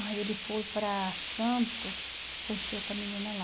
Aí ele foi para Santos, conheceu outra menina lá.